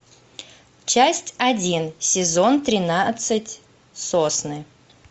часть один сезон тринадцать сосны